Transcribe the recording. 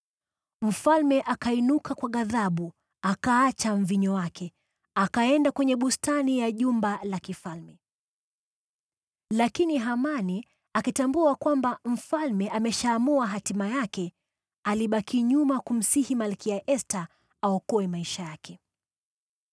Mfalme akainuka kwa ghadhabu, akaacha mvinyo wake, akaenda kwenye bustani ya jumba la kifalme. Lakini Hamani, akitambua kwamba mfalme ameshaamua hatima yake, alibaki nyuma kumsihi Malkia Esta aokoe maisha yake.